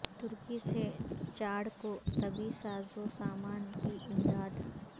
ترکی سے چاڈ کو طبی سازو سامان کی امداد